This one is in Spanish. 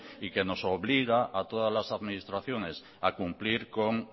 y que nos obliga a todas las administraciones a cumplir con